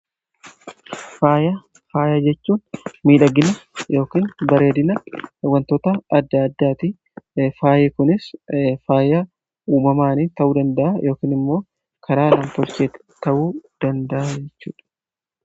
Faaya jechuun miidhagina yookin bareedina wantoota adda addaatii faayi kunis faaya uumamaanii ta'uu danda'a yookiin immoo karaa nam tolcheeti ta'uu danda'a jechuudha.